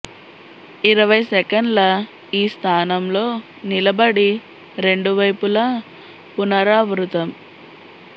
ఇరవై సెకన్ల ఈ స్థానం లో నిలబడి రెండు వైపులా పునరావృతం